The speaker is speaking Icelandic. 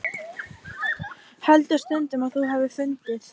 Heldur stundum að þú hafir fundið.